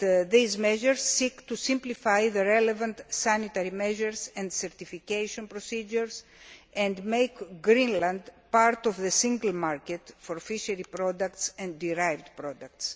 These measures seek to simplify the relevant sanitary measures and certification procedures and make Greenland part of the Single Market for fishery products and derived products.